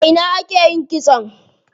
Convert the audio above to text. A ina ake yin kitson?